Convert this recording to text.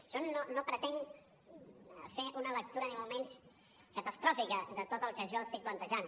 jo no pretenc fer una lectura ni molt menys catastròfica de tot el que jo estic plantejant